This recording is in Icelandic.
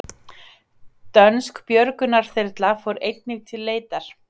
Dönsk björgunarþyrla fór einnig til leitar